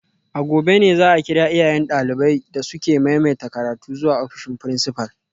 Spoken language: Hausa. A gobe ne za a kira iyayen daliban da suka maimaita karatu zuwa ofishin principal